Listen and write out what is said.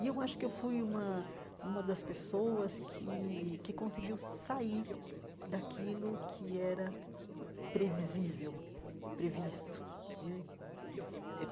E eu acho que fui uma uma das pessoas que que conseguiu sair daquilo que era previsível, previsto né. Eh